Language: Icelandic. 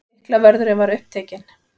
Lyklavörðurinn var upptekinn.